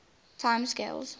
time scales